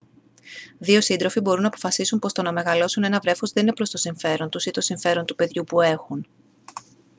δύο σύντροφοι μπορούν να αποφασίσουν πως το να μεγαλώσουν ένα βρέφος δεν είναι προς το συμφέρον τους ή το συμφέρον του παιδιού που έχουν